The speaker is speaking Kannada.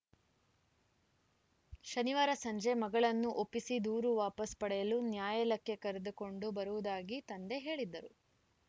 ಶನಿವಾರ ಸಂಜೆ ಮಗಳನ್ನು ಒಪ್ಪಿಸಿ ದೂರು ವಾಪಾಸ್‌ ಪಡೆಯಲು ನ್ಯಾಯಾಲಕ್ಕೆ ಕರೆದುಕೊಂಡು ಬರುವುದಾಗಿ ತಂದೆ ಹೇಳಿದ್ದರು